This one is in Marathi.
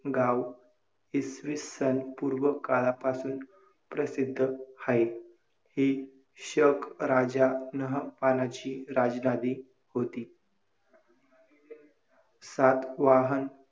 कठीण अश्या वाख्यायात बसेल दुष्पामनाने मानव निमित्त की नसर्गिक